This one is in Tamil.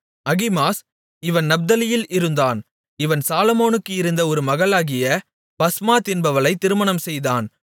அகிமாஸ் இவன் நப்தலியில் இருந்தான் இவன் சாலொமோனுக்கு இருந்த ஒரு மகளாகிய பஸ்மாத் என்பவளைத் திருமணம்செய்தான்